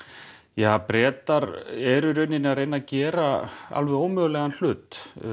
ja Bretar eru í raun að reyna að gera alveg ómögulegan hlut